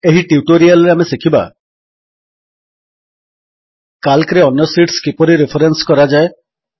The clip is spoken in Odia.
ଏହି ଟ୍ୟୁଟୋରିଆଲ୍ ରେ ଆମେ ଶିଖିବା କାଲ୍କରେ ଅନ୍ୟ ଶୀଟ୍ସ କିପରି ରେଫରେନ୍ସ କରାଯାଏ